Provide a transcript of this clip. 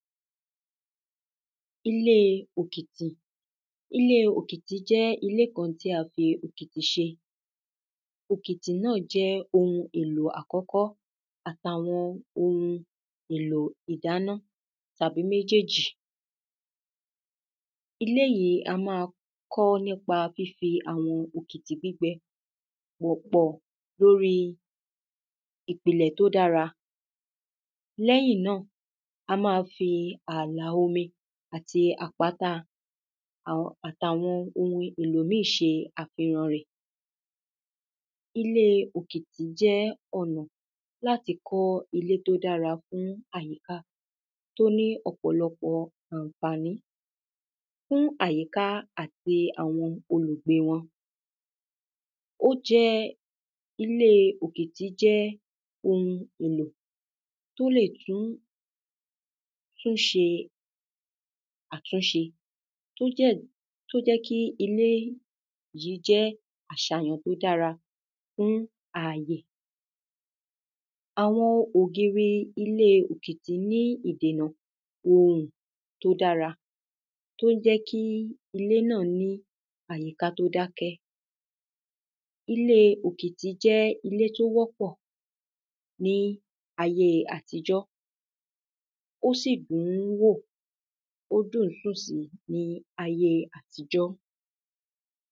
ilé òkìtì, ilé òkìtì jẹ́ ilé kan tí a fí òkìtì ṣe òkìtì náà jẹ́ ohun èlò àkọ́kọ́ àtàwọn ohun èlò ìdáná tàbí méjèjì. ilé yìí, a ma kọ́ọ́ nípa fífi àwọn òkìtì gbígbẹ wọ̀pọ̀ lóri ìpìnlẹ̀ tó dára lẹ́yìn náà, a ma fi àlà omi àti àpáta àtàwọn ohun èlò míì ṣe àfilọ rẹ̀ ilé òkìtì jẹ́ ọ̀nà láti kọ́ ilé tó dára fún àyíká tó ní ọ̀pọ̀lọ́pọ̀ ànfàní fún àyíká àti àwọn olùgbé wọn ó jẹ́, ilé òkìtì jẹ́ ohun èlò tó lè tún tún ṣe àtúnṣe tó jẹ́, tó jẹ́ kí ilé yìí jẹ́ àṣàyàn tó dára fún àyè àwọn ògiri ilé òkìtì ní idènà òrùn tó dára tó jẹ́ kí ilé náà ní àyíká tó dákẹ́ ilé òkìtì jẹ́ ilé tó wọ́pọ̀ ní ayé àtijọ́ ó sì dùn-ún wò, ó dùn ń sùn sí ní ayé àtijọ́